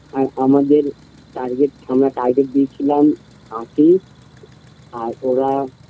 আর আমাদের target থানা target দিয়ে ছিলাম আশি আর ওরা